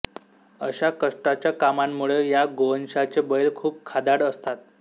अशा कष्टाच्या कामांमुळे या गोवंशाचे बैल खुप खादाड असतात